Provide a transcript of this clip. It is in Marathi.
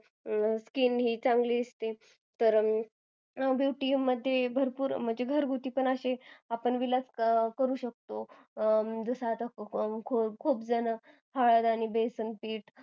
skin ही चांगली दिसते कारण घरगुती पण असे आपण विलाज करू शकते जस आता खुपजन हळद आणि बेसन पीठ